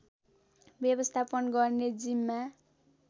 व्यवस्थापन गर्ने जिम्मा